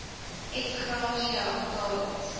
ex gratia betalings